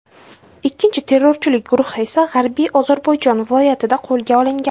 Ikkinchi terrorchilik guruhi esa G‘arbiy Ozarbayjon viloyatida qo‘lga olingan.